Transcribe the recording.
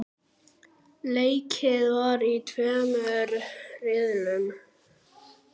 Leikið var í tveimur riðlum.